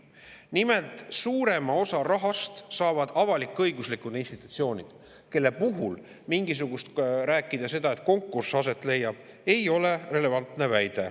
Nimelt, suurema osa rahast saavad avalik-õiguslikud institutsioonid, kelle puhul rääkida sellest, et leiab aset konkurss, ei ole relevantne.